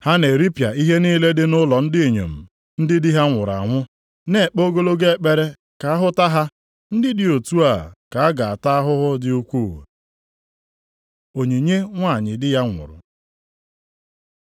Ha na-eripịa ihe niile dị nʼụlọ ndị inyom ndị di ha nwụrụ anwụ, nʼekpe ogologo ekpere ka a hụta ha. Ndị dị otu a ka a ga-ata ahụhụ dị ukwuu.” Onyinye nwanyị di ya nwụrụ